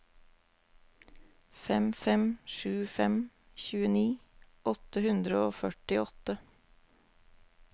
fem fem sju fem tjueni åtte hundre og førtiåtte